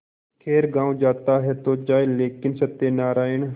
खैर गॉँव जाता है तो जाए लेकिन सत्यनारायण